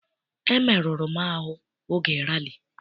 Emeruru m ahụ n'oge rali.